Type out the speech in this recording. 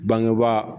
Bangebaa